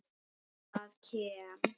Það kem